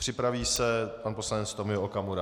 Připraví se pan poslanec Tomio Okamura.